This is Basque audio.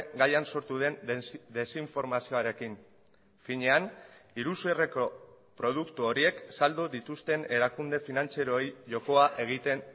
gaian sortu den desinformazioarekin finean iruzurreko produktu horiek saldu dituzten erakunde finantzieroei jokoa egiten